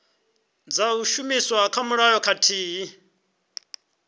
dza shumiswa kha mulayo khathihi